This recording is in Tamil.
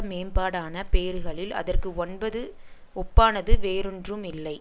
மேம்பாடான பேறுகளில் அதற்கு ஒன்பது ஒப்பானது வேறொன்றும் இல்லை